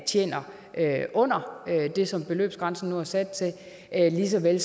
tjener under det som beløbsgrænsen nu er sat til lige så vel